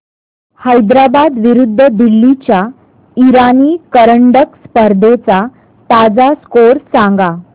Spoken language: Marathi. हैदराबाद विरुद्ध दिल्ली च्या इराणी करंडक स्पर्धेचा ताजा स्कोअर सांगा